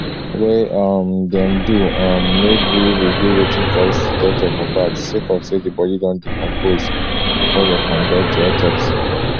wey um dem do um no gree reveal wetin cause di death of mohbad sake of say di bodi don decompose bifor dem conduct di autopsy